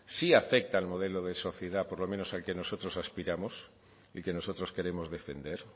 sí afecta al modelo de sociedad por lo menos a que nosotros aspiramos y que nosotros queremos defender